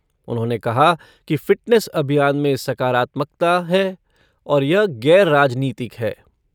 उन्होंने कहा कि फ़िटनेस अभियान में सकारात्मकता है और यह गैर राजनीतिक है।